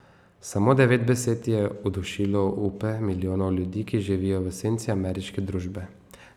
Samo devet besed je udušilo upe milijonov ljudi, ki živijo v senci ameriške družbe.